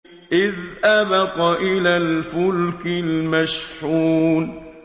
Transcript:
إِذْ أَبَقَ إِلَى الْفُلْكِ الْمَشْحُونِ